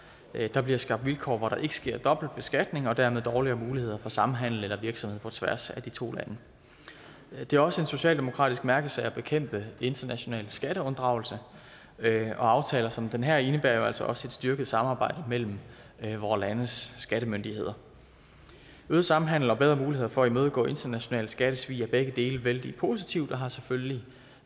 der bliver skabt vilkår hvor der ikke sker dobbeltbeskatning og dermed dårligere muligheder for samhandel eller virksomhed på tværs af de to lande det er også en socialdemokratisk mærkesag at bekæmpe international skatteunddragelse og aftaler som den her indebærer jo altså også et styrket samarbejde mellem vore landes skattemyndigheder øget samhandel og bedre muligheder for at imødegå internationalt skattesvig er begge dele vældig positivt og har selvfølgelig